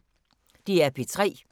DR P3